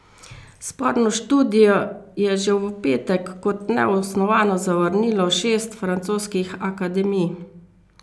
Sporno študijo je že v petek kot neosnovano zavrnilo šest francoskih akademij.